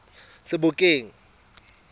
sebokeng